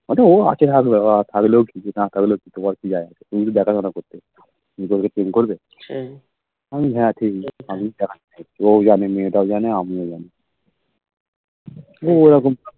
ও আছে ওরা থাকলেও কি না থাকলেও তোর কি যায় আসে ওরা কি প্রেম করবে আমি বলি ও হে ঠিকই ও যানে মেয়েটাও মনে আমিও জানি